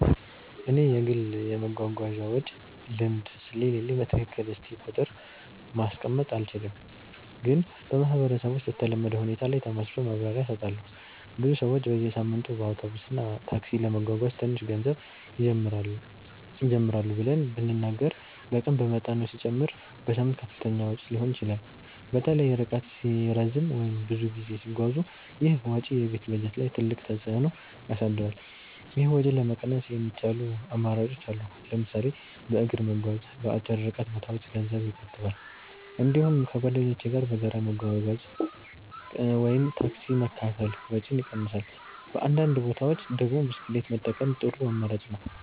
እኔ የግል የመጓጓዣ ወጪ ልምድ ስለሌለኝ በትክክል እስቲ ቁጥር ማስቀመጥ አልችልም፣ ግን በማህበረሰብ ውስጥ የተለመደ ሁኔታ ላይ ተመስርቶ ማብራሪያ እሰጣለሁ። ብዙ ሰዎች በየሳምንቱ በአውቶቡስ እና ታክሲ ለመጓጓዝ ትንሽ ገንዘብ ይጀምራሉ ብለን ብንናገር በቀን በመጠኑ ሲጨመር በሳምንት ከፍተኛ ወጪ ሊሆን ይችላል። በተለይ ርቀት ሲረዝም ወይም ብዙ ጊዜ ሲጓዙ ይህ ወጪ የቤት በጀት ላይ ትልቅ ተፅዕኖ ያሳድራል። ይህን ወጪ ለመቀነስ የሚቻሉ አማራጮች አሉ። ለምሳሌ በእግር መጓዝ በአጭር ርቀት ቦታዎች ገንዘብ ይቆጥባል። እንዲሁም ከጓደኞች ጋር በጋራ መጓጓዝ (car pooling ወይም ታክሲ መካፈል) ወጪን ይቀንሳል። በአንዳንድ ቦታዎች ደግሞ ብስክሌት መጠቀም ጥሩ አማራጭ ነው።